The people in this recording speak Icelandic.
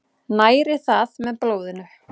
Næri það með blóðinu.